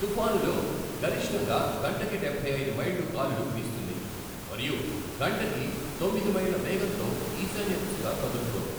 తుఫానులో గరిష్టంగా గంటకి డబ్బై ఐదు మైళ్ళు గాలులు వీస్తుంది మరియు గంటకి తొమ్మిది మైళ్ళ వేగంతో ఈశాన్య దిశగా కదులుతోంది.